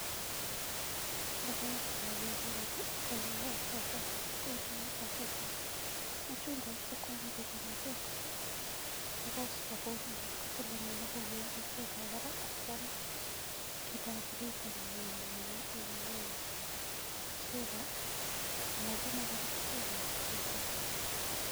Logoek cho geere eng yu, ko logoek che kikure machungwek, machungwek sikwaam chito machungwek ko suppose kopuul anan kotil inee akonem pertetab barak ak kwaam kiitab ariit amaam keswekab, amakiame kora keswekab machungwek.